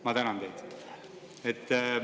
Ma tänan teid.